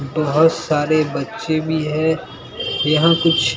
बहुत सारे बच्चे भी है यहां कुछ--